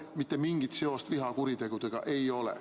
Mitte mingit seost vihakuritegudega ei ole.